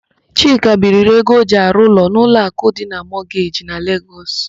Chike biiri ego o ji arụ ụlọ n'Ụlọakụ Mọgeji dị na Legọs.